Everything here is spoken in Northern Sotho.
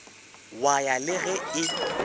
wa ya le ge e